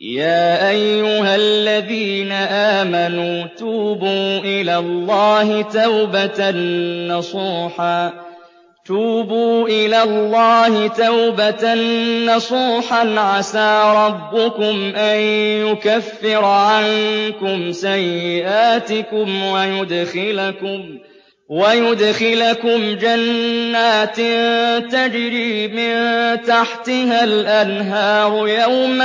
يَا أَيُّهَا الَّذِينَ آمَنُوا تُوبُوا إِلَى اللَّهِ تَوْبَةً نَّصُوحًا عَسَىٰ رَبُّكُمْ أَن يُكَفِّرَ عَنكُمْ سَيِّئَاتِكُمْ وَيُدْخِلَكُمْ جَنَّاتٍ تَجْرِي مِن تَحْتِهَا الْأَنْهَارُ يَوْمَ